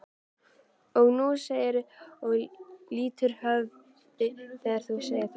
Og nú segirðu og lýtur höfði þegar þú segir það.